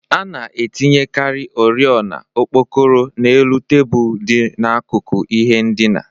A na-etinyekarị oriọna okpokoro n'elu tebụl dị n'akụkụ ihe ndina